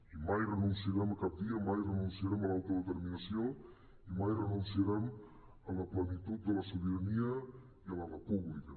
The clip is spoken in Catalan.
i mai renunciarem a cap via mai renunciarem a l’autodeterminació i mai renunciarem a la plenitud de la sobirania i a la república